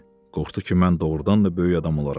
Qorxdu ki, mən doğurdan da böyük adam olaram.